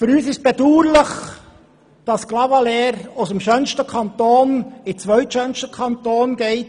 Für uns ist bedauerlich, dass Clavaleyres aus dem schönsten Kanton der Schweiz in den zweitschönsten Kanton geht.